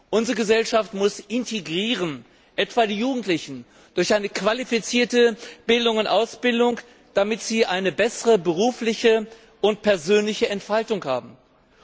Unsere Gesellschaft muss integrieren, etwa die Jugendlichen durch eine qualifizierte Bildung und Ausbildung, damit sie sich beruflich und persönlich besser entfalten können.